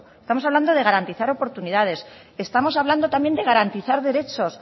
estamos hablando de garantizar oportunidades estamos hablando también de garantizar derechos